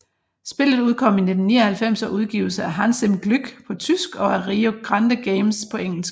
Spillet udkom i 1999 og udgives af Hans im Glück på tysk og af Rio Grande Games på engelsk